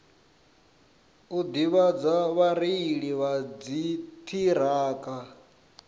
u ḓivhadza vhareili vha dziṱhirakha